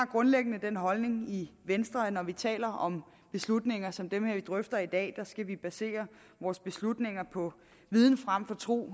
grundlæggende holdning i venstre at når vi taler om beslutninger som dem vi drøfter i dag hvor skal vi basere vores beslutninger på viden frem for tro